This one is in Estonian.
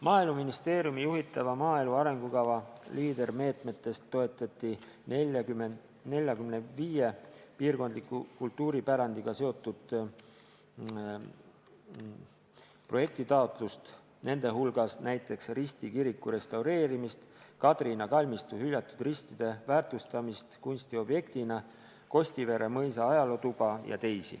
Maaeluministeeriumi juhitava maaelu arengukava Leader-meetmetest toetati 45 piirkondliku kultuuripärandiga seotud projektitaotlust, nende hulgas näiteks Risti kiriku restaureerimist, Kadrina kalmistu hüljatud ristide väärtustamist kunstiobjektina, Kostivere mõisa ajalootuba ja muud.